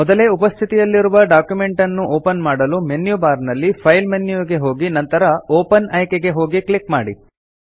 ಮೊದಲೇ ಉಪಸ್ಥಿತಿಯಲ್ಲಿರುವ ಡಾಕ್ಯುಮೆಂಟ್ ಅನ್ನು ಓಪನ್ ಮಾಡಲು ಮೆನ್ಯು ಬಾರ್ ನಲ್ಲಿ ಫೈಲ್ ಮೆನ್ಯು ಗೆ ಹೋಗಿ ನಂತರ ಓಪನ್ ಆಯ್ಕೆಗೆ ಹೋಗಿ ಕ್ಲಿಕ್ ಮಾಡಿ